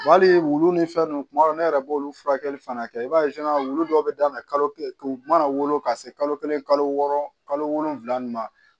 Wa hali wulu ni fɛn nunnu kuma dɔw ne yɛrɛ b'olu furakɛli fana kɛ i b'a ye wulu dɔw bɛ daminɛ kalo kelen u mana wolo ka se kalo kelen kalo wɔɔrɔ kalo wolonwula ni ma